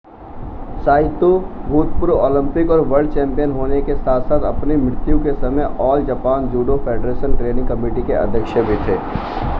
Saito भूतपूर्व Olympic और world champion होने के साथ-साथ अपनी मृत्यु के समय All Japan Judo Federation Training Committee के अध्यक्ष भी थे